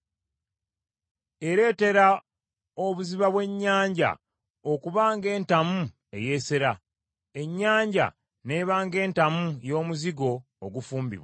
Ereetera obuziba bw’ennyanja okuba ng’entamu eyeesera. Ennyanja n’eba ng’entamu y’omuzigo ogufumbibwa.